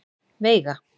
Veiga